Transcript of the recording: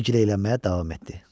Və giləylənməyə davam etdi.